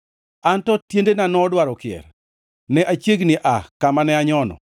Anto tiendena nodwaro kier. Ne achiegni aa kama ne anyono.